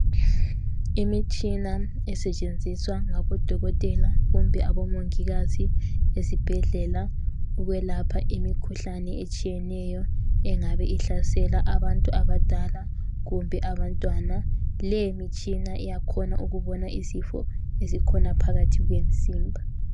Imitshina esetshenziswa ngabodokotela kumbe abomongikazi ezibhedlela ukwelapha imikhuhlane etshiyeneyo engabe ihlasela abantu abadala kumbe abantwana. Leyi mitshina iyakhona ukubona izifo ezikhona phakathi komzimba.